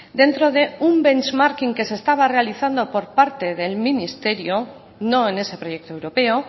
dentro de un benchmarking que se estaba realizando por parte del ministerio no en ese proyecto europeo